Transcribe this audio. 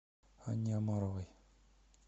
анне омаровой